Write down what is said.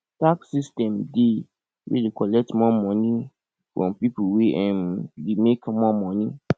tax system dey wey dey collect more money from pipo wey um dey make more money